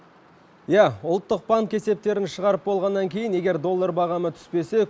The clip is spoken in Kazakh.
иә ұлттық банк есептерін шығарып болғаннан кейін егер доллар бағамы түспесе